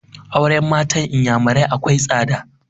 Auren matan inyamurai akwai tsada